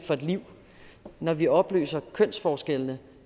hen når vi opløser kønsforskellene